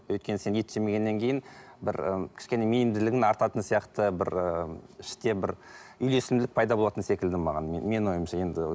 өйткені сен ет жемегеннен кейін бір і кішкене мейірімділігің артатын сияқты бір ы іштен бір үйлесімділік пайда болатын секілді маған менің ойымша енді